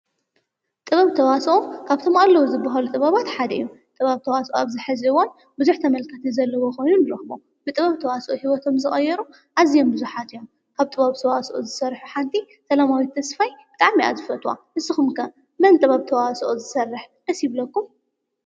ጥበብ ተዋሶኦ ካብቶም ኣለዉ ዝብሃሉ ጥበባት ሓደ እዮም፡፡ ጥበብ ተዋሶኦ ኣብዝሕዚ እዋን ብዙሕ ተመልካቲ ዘለዎ ኾየኑ ንረኽቦ፡፡ ብጥበብ ተዋሶኦ ህይወቶም ዝቐየሩ ኣዚዮም ብዙሓት እዮም፡፡ ካብ ጥበብ ተዋሶኦ ዝሠርሑ ሓንቲ ሰላማዊት ተስፋይ ብጣዕሚ እየ ዝፈትዋ፡፡ ንስኹም ከ መን ጥበብ ተዋሶኦ ዝሰርሕ ደስ ይብለኩም?